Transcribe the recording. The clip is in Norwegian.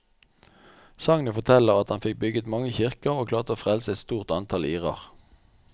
Sagnet forteller at han fikk bygget mange kirker og klarte å frelse et stort antall irer.